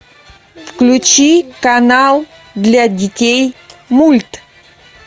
включи канал для детей мульт